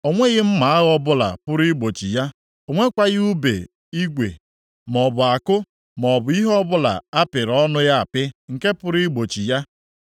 O nweghị mma agha ọbụla pụrụ igbochi ya, o nwekwaghị ùbe igwe, maọbụ àkụ maọbụ ihe ọbụla a pịrị ọnụ ya apị nke pụrụ igbochi ya.